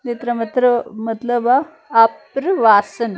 ਇਸਤਾ ਮਤਲਬ ਆ ਆਪਰ ਵਾਸਨ।